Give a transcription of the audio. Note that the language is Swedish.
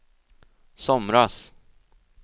somras